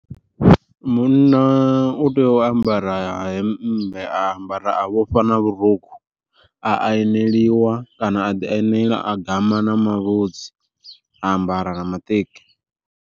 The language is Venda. Munna u tea u ambara hemmbe a ambara a vhofha na vhurukhu, a aneliwa kana a ḓi anela a gama na mavhudzi ambara na maṱeki.